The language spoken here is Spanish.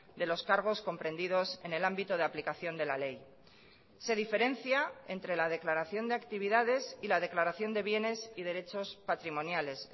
de los cargos comprendidos en el ámbito de aplicación de la ley se diferencia entre la declaración de actividades y la declaración de bienes y derechos patrimoniales